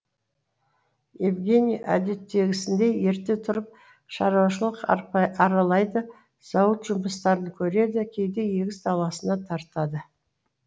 евгений әдеттегісіндей ерте тұрып шаруашылық аралайды зауыт жұмыстарын көреді кейде егіс даласына тартады